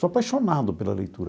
Sou apaixonado pela leitura.